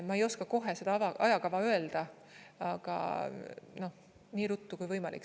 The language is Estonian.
Ma ei oska kohe seda ajakava öelda, aga nii ruttu kui võimalik.